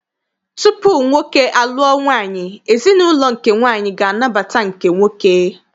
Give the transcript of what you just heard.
Tupu nwoke a lụọ nwaanyị, ezinaụlọ nke nwaanyị ga anabata nke nwoke.